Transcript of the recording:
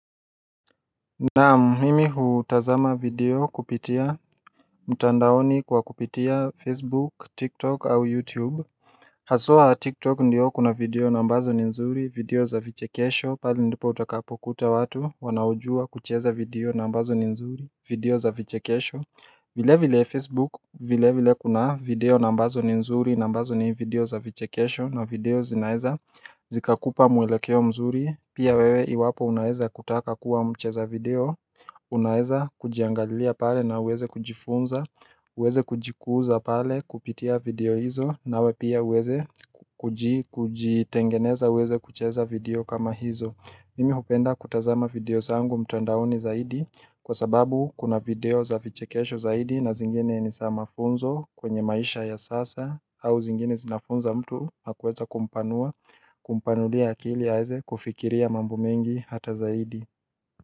Naam mimi hutazama video kupitia mtandaoni kwa kupitia facebook, tiktok au youtube Hasua tiktok ndio kuna video na ambazo ni nzuri video za vichekesho pali ndipo utakapokuta watu wanaoujua kucheza video nambazo ni nzuri video za vichekesho vile vile Facebook, vile vile kuna video nambazo ni mzuri nambazo ni video za vichekesho na video zinaeza zikakupa mwelekeo mzuri Pia wewe iwapo unaeza kutaka kuwa mcheza video, unaeza kujiangalia pale na uweze kujifunza, uweze kujikuza pale kupitia video hizo na we pia uweze kuji tengeneza uweze kucheza video kama hizo Nimi hupenda kutazama video sangu mtandaoni zaidi kwa sababu kuna video za vichekesho zaidi na zingine ni sama funzo kwenye maisha ya sasa au zingine zinafunza mtu hakuweza kumpanua kumpanulia akili aze kufikiria mambo mengi hata zaidi.